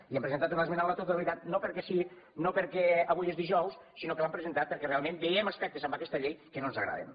i hi hem presentat una esmena a la totalitat no perquè sí no perquè avui és dijous sinó que l’hem presentat perquè realment veiem aspectes en aquesta llei que no ens agraden